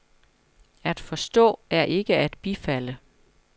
At forstå er ikke at bifalde.